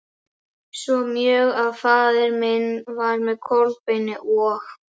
Svo mjög að faðir minn var með Kolbeini og